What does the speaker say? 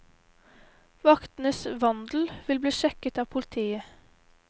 Vaktenes vandel vil bli sjekket av politiet.